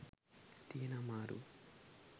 තියෙන අමාරුව.